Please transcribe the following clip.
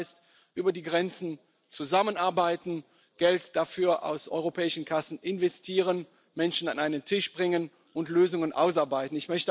Interreg heißt, über die Grenzen zusammenarbeiten, Geld dafür aus europäischen Kassen investieren, Menschen an einen Tisch bringen und Lösungen ausarbeiten.